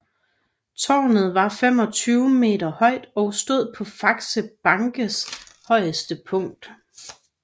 Tårnet var 25 m højt og stod på Faxe Bankes højeste punkt